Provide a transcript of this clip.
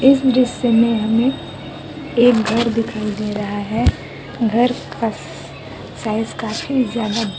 इस दृश्य में हमें एक घर दिखाई दे रहा है घर का स-साइज काफी ज्यादा--